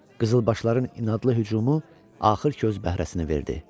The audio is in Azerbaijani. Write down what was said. Qızılbaşların inadlı hücumu axır ki öz bəhrəsini verdi.